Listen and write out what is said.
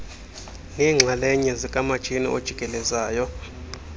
neenxalanye zikamatshini ojikelezayo